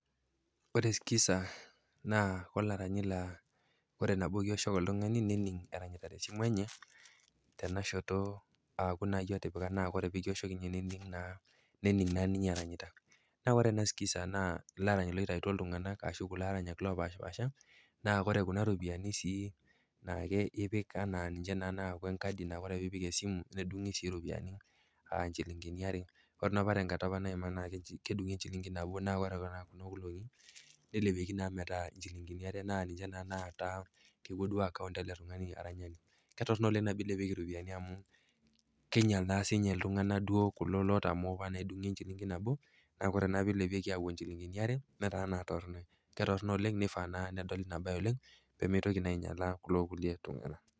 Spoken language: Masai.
Ore sikiza naa olaranyi laa ore nabo kioshoki oltung'ani nening' eranyita te simu enye tenashoto aaku naa iyie otipika naa ore nabo kioshoki ninye nening naa ninye eranyitta. Ore sikiza naa ilaranyi loitaituo iltung'ana ashu kulo aranyak opaashipaasha naa ore kuna rupiani sii naa ninche epik neaku enkadi, nedung'i sii iropiani aa inchilingini are. Ore naa apa tenkata naima naa keji kedung'i enchilingi nabo naa ore kuna olong'i, neilepieki metaa inchilingini are naa ninje na taata kewuo account ele tung'ani aranyani. Ketorrono oleng nabo eilepieki iropiani amu keinyal naa sininye iltung'ana kulo otamoo edung'i enchilingi nabo, naa ore naa peilepieki awuo inchilingini are netaa naa torronoi, ke torrono oleng, neifaa naa nedoli ina bae oleng pee meitoki naa ainyalaa kulo kulie tung'ana.